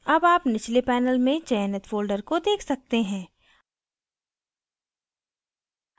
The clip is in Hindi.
अब आप निचले panel में चयनित folder को देख सकते हैं